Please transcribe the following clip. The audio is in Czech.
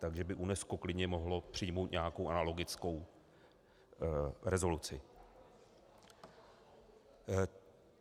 Takže by UNESCO klidně mohlo přijmout nějakou analogickou rezoluci.